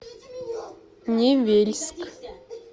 невельск